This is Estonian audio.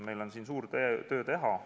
Meil on siin suur töö teha.